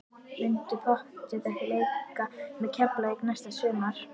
Muntu pottþétt ekki leika með Keflavík næsta sumar?